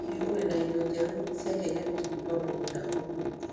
Hihi ũrĩ na indo njerũ cia kĩenyejĩ kuuma mũgũnda ũmũthĩ?